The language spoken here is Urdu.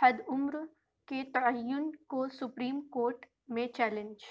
حدعمرکے تعین کو سپریم کورٹ میں چیلنج